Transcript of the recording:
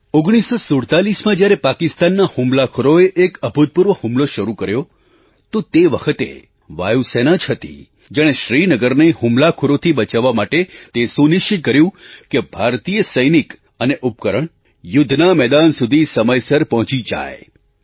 1947માં જ્યારે પાકિસ્તાનના હુમલાખોરોએ એક અભૂતપૂર્વ હુમલો શરૂ કર્યો તો તે વખતે વાયુ સેના જ હતી જેણે શ્રીનગરને હુમલાખોરોથી બચાવવા માટે તે સુનિશ્ચિત કર્યું કે ભારતીય સૈનિક અને ઉપકરણ યુદ્ધના મેદાન સુધી સમયસર પહોંચી જાય